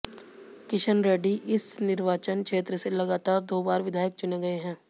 किशन रेड्डी इस निर्वाचन क्षेत्र से लगातार दो बार विधायक चुने गए हैं